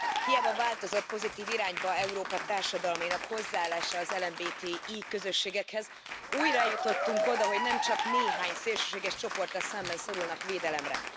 Hiába változott pozitív irányban Európa társadalmainak hozzáállása az LMBTI közösségekhez, újra eljutottunk oda, hogy nemcsak néhány szélsőséges csoporttal szemben szorulnak védelemre.